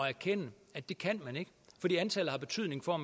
erkende at det kan man ikke fordi antallet har betydning for